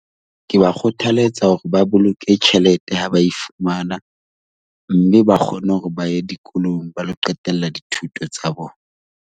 Ke ba kgothalletsa hore ba boloke tjhelete ha ba e fumana mme ba kgone hore ba ye dikolong ba lo qetella dithuto tsa bona.